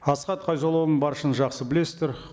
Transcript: асхат қайзоллаұлын баршаңыз жақсы білесіздер